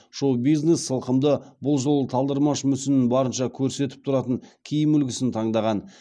шоу бизнес сылқымы бұл жолы талдырмаш мүсінін барынша көрсетіп тұратын киім үлгісін таңдаған